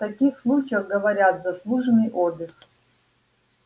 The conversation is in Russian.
в таких случаях говорят заслуженный отдых